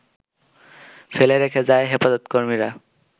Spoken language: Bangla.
ফেলে রেখে যায় হেফাজতকর্মীরা,